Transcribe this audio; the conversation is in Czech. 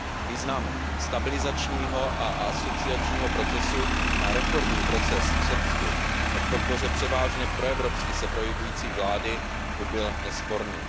Význam stabilizačního a asociačního procesu na reformní proces v Srbsku a pro podporu převážně proevropsky se projevující vlády by byl nesporný.